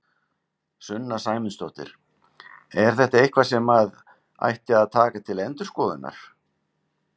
Sunna Sæmundsdóttir: Er þetta eitthvað sem að ætti að taka til endurskoðunar?